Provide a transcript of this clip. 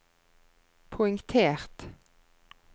poengtert